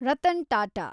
Ratan Tata